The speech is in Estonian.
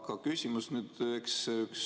Aga küsimus.